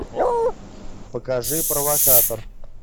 покажи провокатор